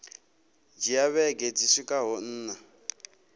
dzhia vhege dzi swikaho nṋa